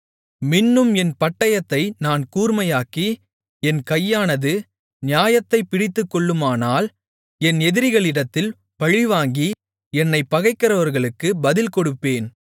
மின்னும் என் பட்டயத்தை நான் கூர்மையாக்கி என் கையானது நியாயத்தைப் பிடித்துக்கொள்ளுமானால் என் எதிரிகளிடத்தில் பழிவாங்கி என்னைப் பகைக்கிறவர்களுக்குப் பதில்கொடுப்பேன்